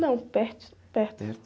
Não, perto.erto?erto.